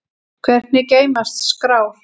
Hvernig geymast skrár?